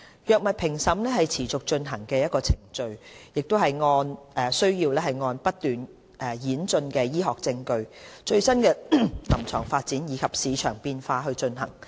藥物評審是持續進行的程序，須按不斷演進的醫學證據、最新的臨床發展及市場變化進行。